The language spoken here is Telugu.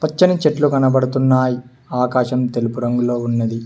పచ్చని చెట్లు కనపడుతున్నాయ్ ఆకాశం తెలుపు రంగులో ఉన్నది.